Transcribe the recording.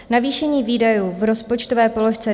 Navýšení výdajů v rozpočtové položce